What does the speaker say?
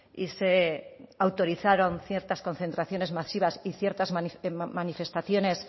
y se autorizaron ciertas concentraciones masivas y ciertas manifestaciones